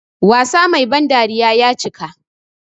Wasa Mai ban dariya ya cika.